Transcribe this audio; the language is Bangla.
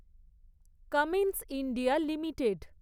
Cummins India limited